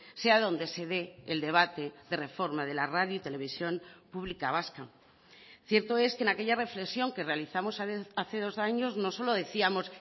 sea donde se dé el debate de reforma de la radio y televisión pública vasca cierto es que en aquella reflexión que realizamos hace dos años no solo decíamos